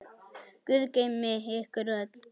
Guð geymi ykkur öll.